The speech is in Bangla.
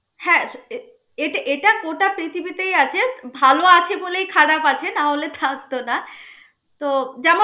হ্যা আহ এট~ এটা গোটা পৃথিবীতেই আছে. ভাল আছে বলেই খারাপ আছে না হলে থাকত না তো যেমন